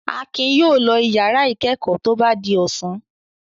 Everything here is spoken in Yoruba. Akin yóò lọ ìyàrá ìkẹ́kọ̀ọ́ tó bá di ọ̀sán.